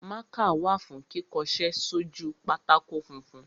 Mákà wà fún kíkọṣẹ́ sójú pátákó funfun.